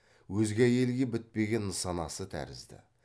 өзге әйелге бітпеген нысанасы тәрізді